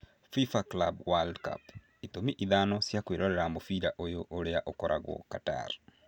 Fifa Club World Cup: itũmi ithano cia kwĩrorera mũbira ũyũ ũria ũgakorwo Qatar